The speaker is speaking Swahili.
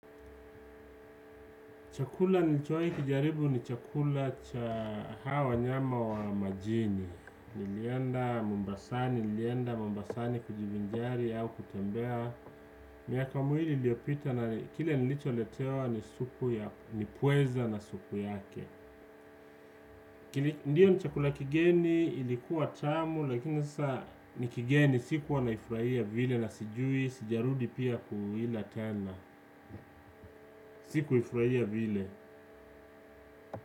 Chakula nilichowahi kijaribu ni chakula cha hawa wanyama wa majini. Nilienda Mombasani, kujivinjari au kutembea. Miaka miwili iliyopita na kile nilicho letewa ni supu ya, ni pweza na supu yake. Ndio ni chakula kigeni ilikuwa tamu lakini saa ni kigeni sikuwa naifurahia vile na sijui sijarudi pia kuila tena. Sikuifurahia vile.